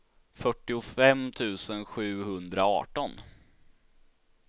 fyrtiofem tusen sjuhundraarton